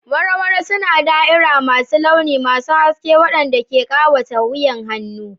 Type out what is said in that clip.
Waro waro suna da'ira masu launi masu haske waɗanda ke ƙawata wuyan hannu.